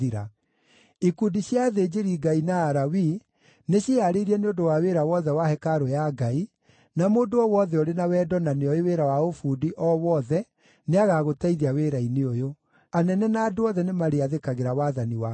Ikundi cia athĩnjĩri-Ngai na Alawii, nĩciĩhaarĩrie nĩ ũndũ wa wĩra wothe wa hekarũ ya Ngai, na mũndũ o wothe ũrĩ na wendo na nĩoĩ wĩra wa ũbundi o wothe nĩagagũteithia wĩra-inĩ ũyũ. Anene na andũ othe nĩmarĩathĩkagĩra wathani waku wothe.”